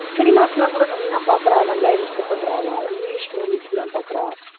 cinemas எல்லாம் கூட நன்னா பாக்குறா நல்லா enjoy பண்றா அவா english movies எல்லாம் பாக்குறா